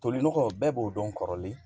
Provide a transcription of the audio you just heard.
Tolinɔgɔ bɛɛ b'o dɔn kɔrɔlen